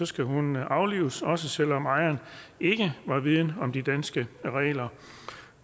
skal hunden aflives også selv om ejeren ikke var vidende om de danske regler